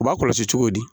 U b'a kɔlɔsi cogo di